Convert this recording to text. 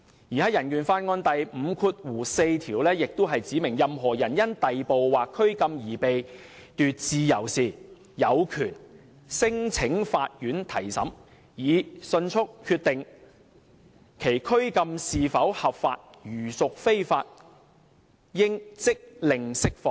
香港人權法案第五四條也指明："任何人因逮捕或拘禁而被奪自由時，有權聲請法院提審，以迅速決定其拘禁是否合法，如屬非法，應即令釋放。